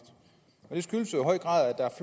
det skyldes jo i høj grad at